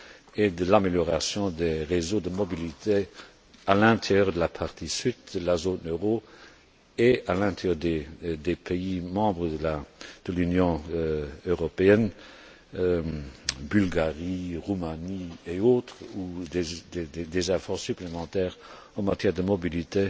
et de l'amélioration des réseaux de mobilité à l'intérieur de la partie sud de la zone euro et à l'intérieur des pays membres de l'Union européenne Bulgarie, Roumanie et autres, où des efforts supplémentaires en matière de mobilité